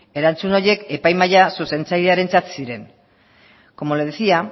erantzun horiek epai mahaia zuzentzailearentzat ziren como le decía